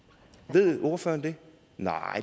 ved ordføreren det nej